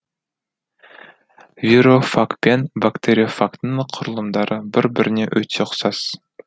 вирофагпен бактериофагтың құрылымдары бір біріне өте ұқсас